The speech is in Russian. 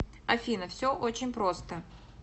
афина все очень просто